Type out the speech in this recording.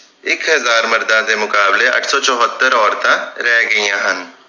ਇਕ ਹਜਾਰ ਮਰਦਾਂ ਦੇ ਮੁਕਾਬਲੇ ਅੱਠ ਸੌ ਚੁਹਤਰ ਔਰਤਾਂ ਰਹਿ ਗਈਆਂ ਹਨ